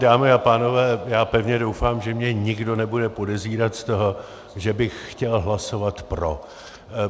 Dámy a pánové, já pevně doufám, že mě nikdo nebude podezírat z toho, že bych chtěl hlasovat pro.